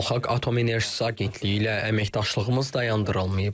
Beynəlxalq Atom Enerjisi Agentliyi ilə əməkdaşlığımız dayandırılmayıb.